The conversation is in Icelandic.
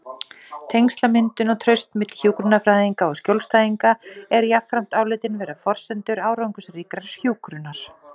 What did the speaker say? Tengslamyndun og traust milli hjúkrunarfræðinga og skjólstæðinga eru jafnframt álitin vera forsendur árangursríkrar hjúkrunar.